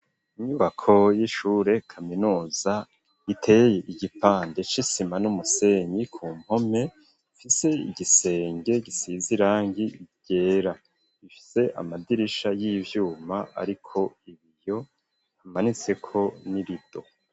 Inyubako y'ishure kaminuza iteye igipande c'isima n'umusenyi ku mpome ifise igisenge gisize irangi ryera ifise amadirisha y'ivyuma ariko ibiyo hamanitseko n'irido.